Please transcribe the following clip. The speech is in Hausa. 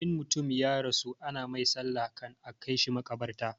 In mutum ya rasu ana mai sallah kan a kaishi makabarta